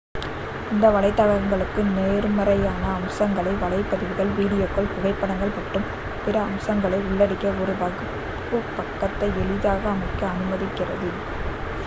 இந்த வலைத்தளங்களுக்கு நேர்மறையான அம்சங்களாக வலைப்பதிவுகள் வீடியோக்கள் புகைப்படங்கள் மற்றும் பிற அம்சங்களை உள்ளடக்கிய ஒரு வகுப்பு பக்கத்தை எளிதாக அமைக்க அனுமதிக்கிறது